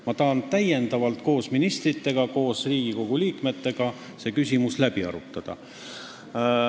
Ma tahan seda küsimust veel koos ministrite ja Riigikoguga arutada.